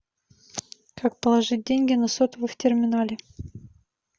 как положить деньги на сотовый в терминале